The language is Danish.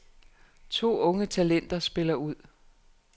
To unge talenter spiller ud.